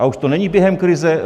A už to není během krize?